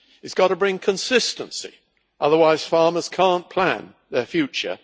It has got to bring consistency, otherwise farmers cannot plan their future.